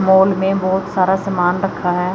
Mall में बोहोत सारा समान रखा हैं।